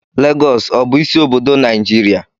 Lagọọsù ọ bụ isi obodo Naijiria?